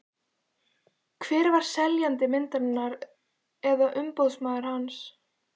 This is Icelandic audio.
Hver var seljandi myndarinnar eða umboðsmaður hans?